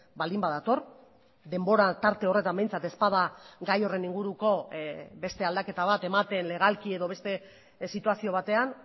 baldin badator denbora tarte horretan behintzat ez bada gai horren inguruko beste aldaketa bat ematen legalki edo beste situazio batean